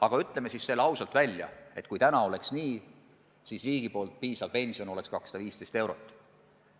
Aga ütleme selle ka ausalt välja, et kui täna olekski nii, siis see riigi tagatav pension oleks 215 eurot.